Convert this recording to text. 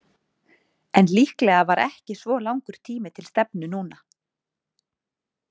En líklega var ekki svo langur tími til stefnu núna.